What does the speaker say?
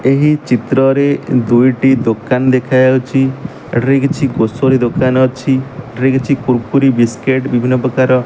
ଏହି ଚିତ୍ର ରେ ଦୁଇଟି ଦୋକାନ ଦେଖା ଯାଉଛି ଏଟା କିଛି ଗ୍ରୋସରି ଦୋକାନ ଅଛି ଏଟାରେ କୁର୍କୁରି ବିସ୍କୁଟ ବିଭିନ୍ନ ପ୍ରକାର।